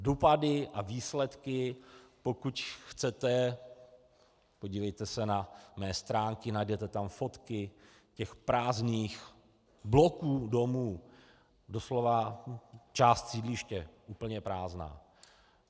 Dopady a výsledky - pokud chcete, podívejte se na mé stránky, najdete tam fotky těch prázdných bloků domů, doslova část sídliště úplně prázdná.